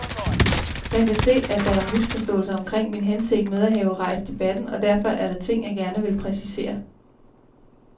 Jeg kan se, at der er misforståelser omkring min hensigt med at have rejst debatten, og derfor er der ting, jeg gerne vil præcisere.